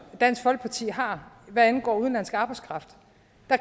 dansk folkeparti har hvad angår udenlandsk arbejdskraft